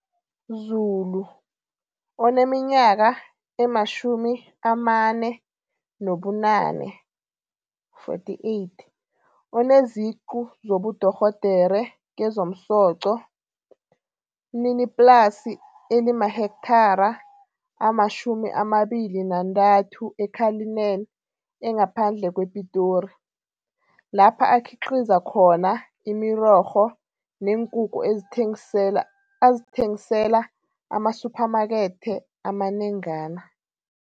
Zulu, oneminyaka ema-48, oneziqu zobudorhodere kezomsoco, mniniplasi elimahekthara ama-23 e-Cullinan engaphandle kwePitori, lapha akhiqiza khona imirorho neenkukhu azithengisela amasuphamakethe amanengana.